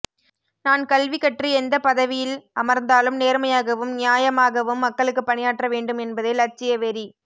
நான் கல்வி கற்று எந்தப்பதவியில் அமர்ந்தாலும் நேர்மையாகயும் நியாமாகவும்மக்களுக்குப் பணியாற்ற வேண்டும் என்பதே லட்சிய வெறி